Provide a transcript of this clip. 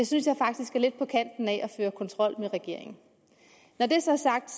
synes jeg faktisk er lidt på kanten af at føre kontrol med regeringen når det så er sagt